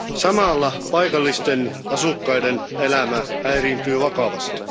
Samalla paikallisten asukkaiden elämä häiriintyy vakavasti.